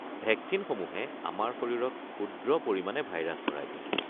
ভেকচিনসমূহে আমাৰ শৰীৰত ক্ষুদ্ৰ পৰিমাণে ভাইৰাছ ভৰাই দিয়ে।